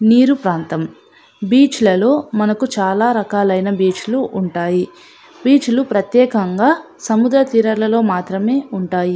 నీరు ప్రాతం బీచ్ ల లో మనకు చాల రకాలైన ఉంటాయి. బీచులు ప్రత్యేకంగా సముద్ర తీరాలలో మాత్రమే ఉంటాయి.